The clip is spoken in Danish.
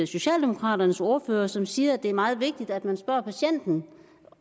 socialdemokraternes ordfører som siger at det er meget vigtigt at man spørger patienten